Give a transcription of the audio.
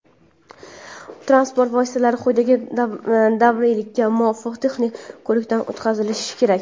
Transport vositalari quyidagi davriylikka muvofiq texnik ko‘rikdan o‘tkazilishi kerak:.